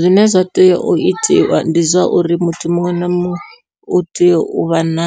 Zwine zwa tea u itiwa ndi zwa uri muthu muṅwe na muṅwe u tea u vha na